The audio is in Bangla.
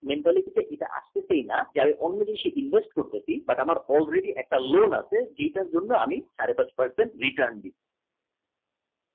Nepal থেকে এটা আজ থেকে না কোনো জিনিসে investment দেখি আমার already একটা loan আছে জেতার জন্যে আমি সাড়ে পাঁচ per cent return দিচ্ছি